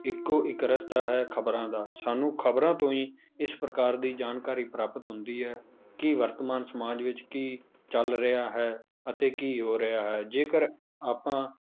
ਇੱਕੋ ਇੱਕ ਰਸਤਾ ਹੈ ਖ਼ਬਰਾਂ ਦਾ ਸਾਨੂੰ ਖ਼ਬਰਾਂ ਤੋਂ ਹੀ ਇਸ ਪ੍ਰਕਾਰ ਦੀ ਜਾਣਕਾਰੀ ਪ੍ਰਾਪਤ ਹੁੰਦੀ ਹੈ ਕਿ ਵਰਤਮਾਨ ਸਮਾਜ ਵਿੱਚ ਕੀ ਚੱਲ ਰਿਹਾ ਹੈ ਅਤੇ ਕੀ ਹੋ ਰਿਹਾ ਹੈ ਜੇਕਰ ਆਪਾਂ